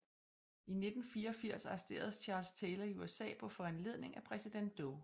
I 1984 arresteres Charles Taylor i USA på foranledning af præsident Doe